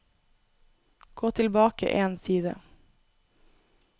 Gå tilbake én side